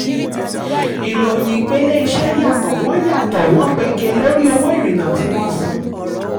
ìròyìn ìpele iṣẹ́ yàtọ̀ wọ́n yàtọ̀ wọ́n pege lórí owó ìrìnà tí wọ́n san.